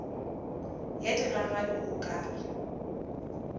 ya digagabi o ka re